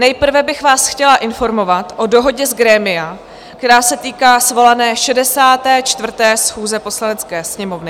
Nejprve bych vás chtěla informovat o dohodě z grémia, která se týká svolané 64. schůze Poslanecké sněmovny.